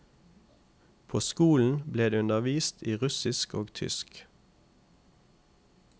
På skolen ble det undervist i russisk og tysk.